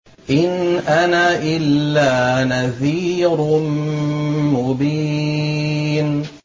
إِنْ أَنَا إِلَّا نَذِيرٌ مُّبِينٌ